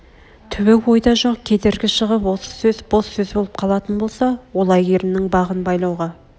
түбі ойда жоқ кедергі шығып осы сөз бос сөз боп қалатын болса ол әйгерімнің бағын байлауға